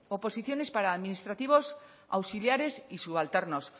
oposiciones para administrativos auxiliares y subalternos